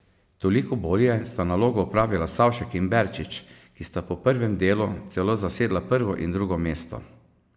Toliko bolje sta nalogo opravila Savšek in Berčič, ki sta po prvem delu celo zasedala prvo in drugo mesto.